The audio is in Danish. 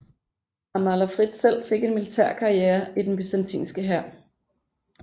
Amalafrid selv fik en militær karriere i den byzantinske hær